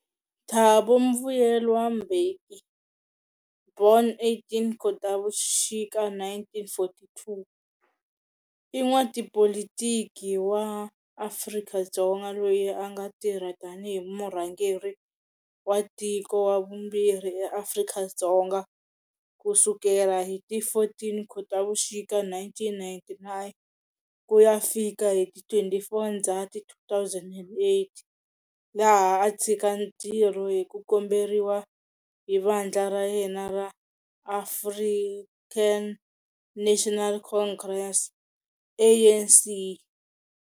Thabo Mvuyelwa Mbeki, born 18 Khotavuxika 1942, i n'watipolitiki wa Afrika-Dzonga loyi anga tirha tani hi murhangeri wa tiko wa vumbirhi eAfrika-Dzonga kusukela hi ti 14 khotavuxika 1999 kuya fika hi ti 24 ndzhati 2008, loko a tshika ntirho hiku komberiwa hi vandla ra yena ra African National Congress, ANC.